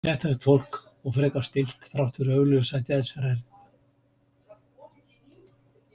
Geðþekkt fólk og frekar stillt þrátt fyrir augljósa geðshræringu.